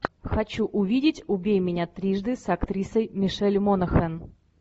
хочу увидеть убей меня трижды с актрисой мишель монахэн